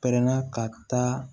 Pɛrɛnna ka taa